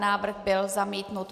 Návrh byl zamítnut.